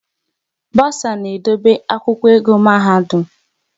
Bosa na-edobe akwụkwọ ego mahadum